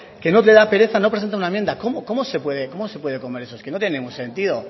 que no le da pereza no presentar una enmienda cómo se puede comer eso es que no tiene ningún sentido